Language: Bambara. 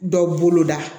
Dɔ boloda